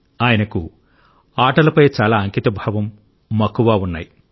ఆయనకు ఆటలపై చాలా అంకితభావంమక్కువ ఉన్నాయి